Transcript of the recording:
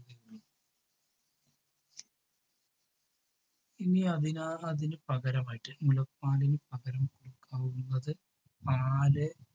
ഇനി അതില്ലെങ്കിൽ അതിനു പകരമായിട്ട് മുലപ്പാലിന് പകരം കൊടുക്കാവുന്നത് പാല്